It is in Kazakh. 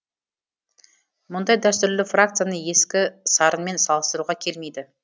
мұндай дәстүрлі фракцияны ескі сарынмен салыстыруға келмейді